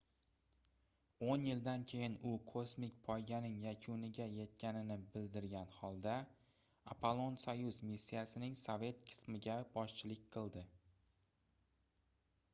oʻn yildan keyin u kosmik poyganing yakuniga yetganini bildirgan holda apollon-soyuz missiyasining sovet qismiga boshchilik qildi